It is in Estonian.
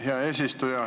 Hea eesistuja!